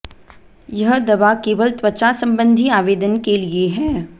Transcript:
यह दवा केवल त्वचा संबंधी आवेदन के लिए है